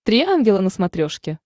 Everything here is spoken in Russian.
три ангела на смотрешке